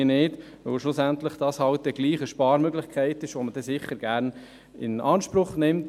Schlussendlich ist es eine Sparmöglichkeit, die man sicher gerne in Anspruch nimmt.